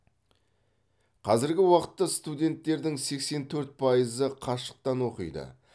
қазіргі уақытта студенттердің сексен төрт пайызы қашықтан оқиды